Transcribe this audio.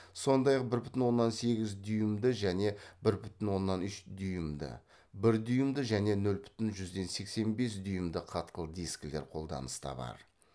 сондай ақ бір бүтін оннан сегіз дюймді және бір бүтін оннан үш дюймді бір дюймді және нөл бүтін жүзден сексен бес дюймді қатқыл дискілер қолданыста бар